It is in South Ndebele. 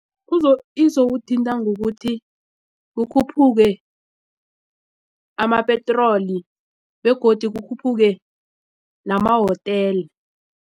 Izokuthinta ngokuthi kukhuphuke amapetroli begodu kukhuphuke namahotela.